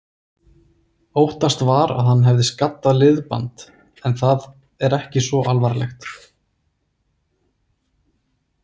Óttast var að hann hefði skaddað liðband, en það er ekki svo alvarlegt.